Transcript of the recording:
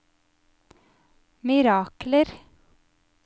mirakler